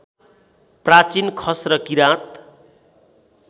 प्राचीन खस र किरात